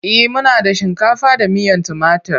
E, muna da shinkafa da miyan timatur.